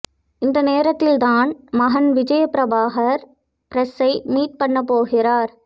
இந்த நேரத்தில்தான் மகன் விஜயபிரபாகர் பிரஸ்சை மீட் பண்ணப் போகிறார்